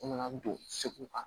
U nana don segu kan